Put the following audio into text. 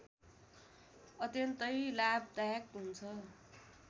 अत्यन्तै लाभदायक हुन्छ